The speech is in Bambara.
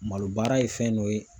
Malo baara ye fɛn dɔ ye